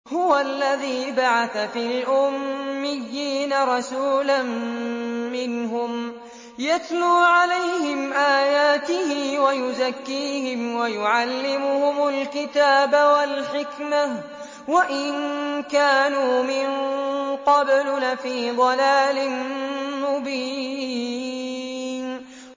هُوَ الَّذِي بَعَثَ فِي الْأُمِّيِّينَ رَسُولًا مِّنْهُمْ يَتْلُو عَلَيْهِمْ آيَاتِهِ وَيُزَكِّيهِمْ وَيُعَلِّمُهُمُ الْكِتَابَ وَالْحِكْمَةَ وَإِن كَانُوا مِن قَبْلُ لَفِي ضَلَالٍ مُّبِينٍ